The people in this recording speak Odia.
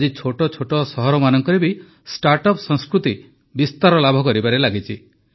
ଆଜି ଛୋଟ ଛୋଟ ସହରମାନଙ୍କରେ ବି ଷ୍ଟାର୍ଟ ଅପ୍ ସଂସ୍କୃତି ବିସ୍ତାର ଲାଭ କରିବାରେ ଲାଗିଛି